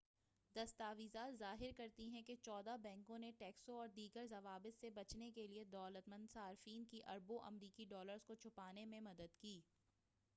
دستاویزات ظاہر کرتی ہیں کہ چودہ بینکوں نے ٹیکسوں اور دیگر ضوابط سے بچنے کے لیے دولت مند صارفین کی اربوں امریکی ڈالرز کو چھپانے میں مدد کی